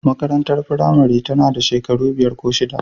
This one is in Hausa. Makarantar firamare tana da shekaru biyar ko shida.